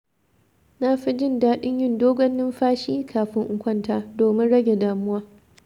Na fi jin daɗin yin dogon numfashi, kafin in kwanta, domin rage damuwa.